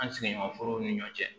An sigiɲɔgɔnforo ni ɲɔ cɛ